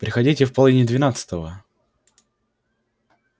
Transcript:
приходите в половине двенадцатого